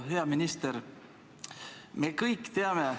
Hea minister!